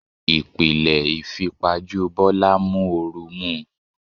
Ìpìlẹ̀ ìfipajú Bọ́lá ń mú oru mú un.